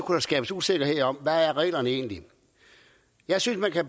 der skabes usikkerhed om hvordan reglerne egentlig er jeg synes at